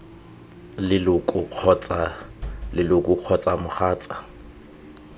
leloko kgotsa leloko kgotsa mogatsa